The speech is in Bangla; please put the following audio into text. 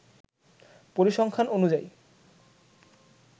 পরিসংখ্যান অনুযায়ী